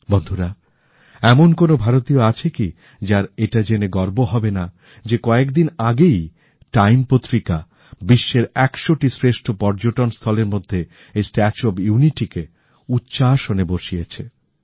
বন্ধুরা এমন কোনো ভারতীয় আছে কি যার এইটা জেনে গর্ব হবেনা যে কয়েকদিন আগেই টাইম পত্রিকা বিশ্বের একশোটি শ্রেষ্ঠ পর্যটনস্থলের মধ্যে এই স্ট্যাচু অফ ইউনিটি কে উচ্চ আসনে বসিয়েছে